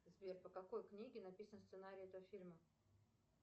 сбер по какой книге написан сценарий этого фильма